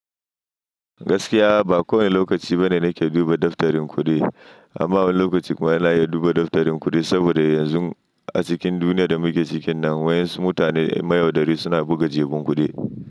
Gaskiya ba kowane lokaci bane nake duba daftarin kuɗi, amma wani lokaci kuma yana iya duba daftarin kuɗi saboda yanzu a cikin duniyar da muke cikinta, wayan su mutane mai yaudari suna buga jeban kuɗi.